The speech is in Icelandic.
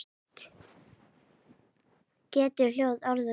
Getur hljóð orðið að mynd?